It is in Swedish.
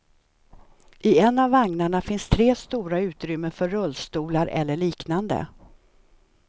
I en av vagnarna finns tre stora utrymmen för rullstolar, eller liknande.